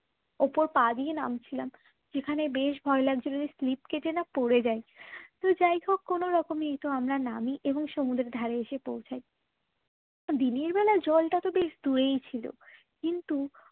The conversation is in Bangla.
উপরে পা দিয়ে নামছিলাম যেখানে বেশ ভয় লাগছিল যে slip কেটে না পড়ে যায় তো যাইহোক কোনরকমে তো আমরা নামি এবং সমুদ্রের ধারে এসে পৌঁছায় দিনের বেলায় জলটা তো বেশ দূরেই ছিল কিন্তু